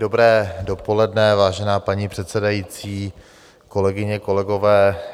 Dobré dopoledne, vážená paní předsedající, kolegyně, kolegové.